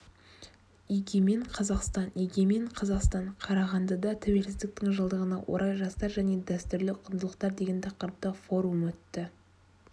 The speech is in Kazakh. егемен қазақстан егемен қазақстан қарағандыда тәуелсіздіктің жылдығына орай жастар және дәстүрлі құндылықтар деген тақырыпта форум өтті